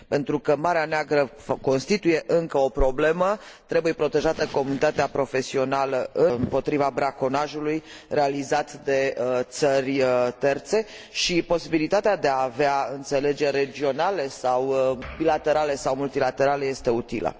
Pentru că Marea Neagră constituie încă o problemă, trebuie protejată comunitatea profesională împotriva braconajului realizat de țări terțe, și posibilitatea de a avea înțelegeri regionale sau bilaterale sau multilaterale este utilă.